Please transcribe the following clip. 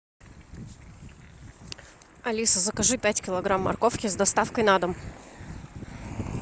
алиса закажи пять килограмм морковки с доставкой на дом